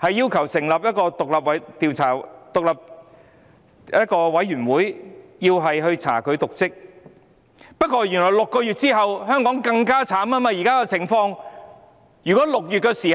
條，成立獨立調查委員會，以調查"林鄭"有否瀆職，但原來在6個月後，香港的情況變得更慘。